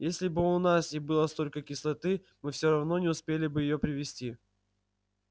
а если бы у нас и было столько кислоты мы все равно не успели бы её привезти